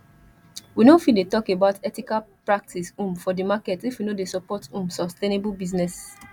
we not fit dey talk about ethical practice um for di market if we no dey support um sustainable business